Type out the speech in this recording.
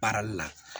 Baarali la